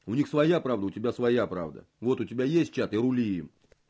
у них своя правда у тебя своя правда вот у тебя есть чат и рули им